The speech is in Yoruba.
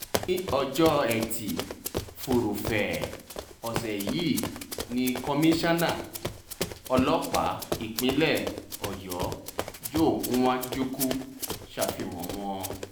ní ọjọ́ etí furuufee ọ̀sẹ̀ yìí ni komisanna ọlọ́pàá nípínlẹ̀ ọyọ́ joe nwajukwu ṣàfihàn wọn